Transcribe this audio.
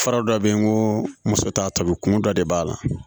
Fura dɔ bɛ yen n ko muso t'a tɔbi kun dɔ de b'a la